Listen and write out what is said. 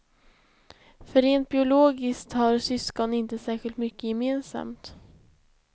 För rent biologiskt har syskon inte särskilt mycket gemensamt.